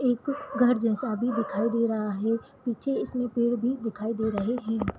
एक घर जैसा भी दिखाई दे रहा है पीछे इसमे पेड़ भी दिखाई दे रहे है।